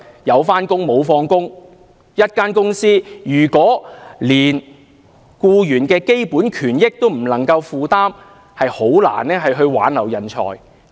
一間公司如果連僱員的基本權益都不能夠負擔，便難以挽留人才。